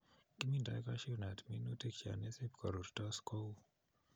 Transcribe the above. Kiminto cashew nut minutik chon isib korurtos kou